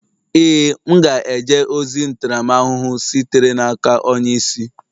Ee, m ga-eje ozi ntaramahụhụ sitere n'aka onye isi.